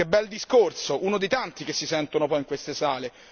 Che bel discorso, uno dei tanti che si sentono qua in queste sale.